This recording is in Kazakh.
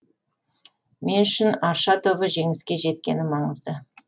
мен үшін арша тобы жеңіске жеткені маңызды